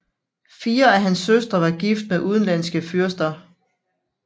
Fire af hans søstre var gift med udenlandske fyrster